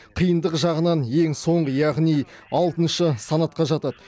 қиындығы жағынан ең соңғы яғни алтыншы санатқа жатады